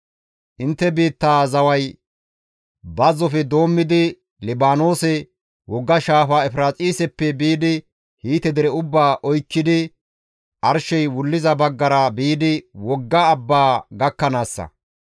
Intte biittaa zaway bazzofe doommidi Libaanoose, wogga shaafa Efiraaxiseppe biidi Hiite dere ubbaa oykkidi arshey wulliza baggara biidi wogga abbaa gakkanaassa.